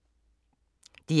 DR K